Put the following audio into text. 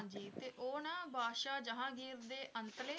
ਹਾਂਜੀ ਤੇ ਉਹ ਨਾ ਬਾਦਸ਼ਾਹ ਜਹਾਂਗੀਰ ਦੇ ਅੰਤਲੇ